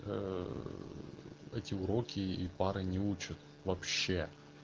ээ эти уроки и пары не учат вообще